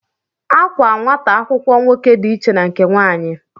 Àkwá nwata akwụkwọ nwoke dị iche na nke nwanyị